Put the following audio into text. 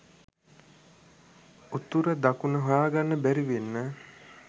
උතුර දකුණ හොයාගන්න බැරිවෙන්න